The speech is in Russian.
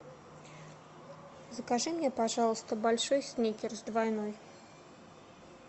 закажи мне пожалуйста большой сникерс двойной